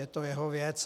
Je to jeho věc.